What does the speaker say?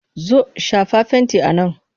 Zo! shafa fenti a nan!